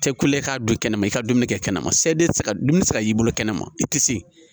Tɛ kule k'a don kɛnɛma i ka dumuni kɛ kɛnɛma seden ti se ka dumuni tɛ se y'i bolo kɛnɛma i te se